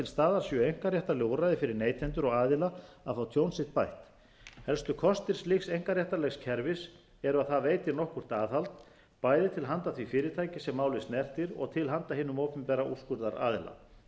staðar séu einkaréttarleg úrræði fyrir neytendur og aðila að fá tjón sitt bætt helstu kostir slíks einkaréttarlegs kerfis eru að það veitir nokkurt aðhald bæði til handa því fyrirtæki sem málið snertir og til handa hinum opinbera úrskurðaraðila þá